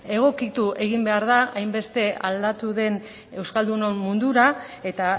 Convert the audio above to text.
egokitu egin behar da hainbeste aldatu den euskaldunon mundura eta